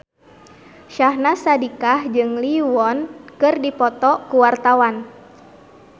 Syahnaz Sadiqah jeung Lee Yo Won keur dipoto ku wartawan